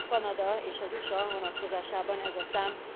Míg Kanada és az USA vonatkozásában ez a szám